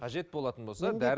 қажет болатын болса